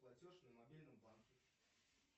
платеж на мобильном банке